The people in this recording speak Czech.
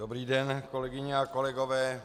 Dobrý den, kolegyně a kolegové.